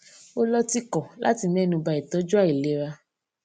ó ló tìkò láti ménu ba ìtójú àilera